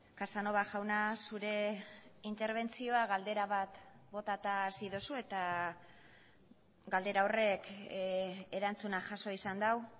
casanova jauna zure interbentzioa galdera bat botata hasi duzu eta galdera horrek erantzuna jaso izan du